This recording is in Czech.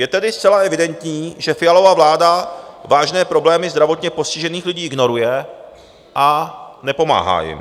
Je tedy zcela evidentní, že Fialova vláda vážné problémy zdravotně postižených lidí ignoruje a nepomáhá jim.